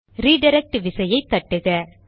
redirect விசையை தட்டுக